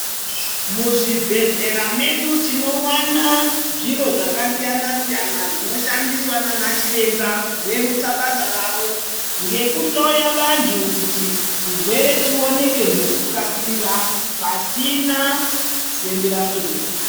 Muzvibhedhlera mwedu tinowana zviro zvakasiyana siyana zvinoshandiswa ndiana Chiremba kurerutsa basa ravo ngekuhloya vantu kuti chirwere chionekwe ngekukasira pasina fembera fembera.